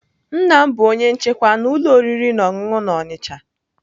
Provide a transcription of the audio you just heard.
Nna m bụ onye nchekwa na ụlọ oriri na ọṅụṅụ na Onitsha.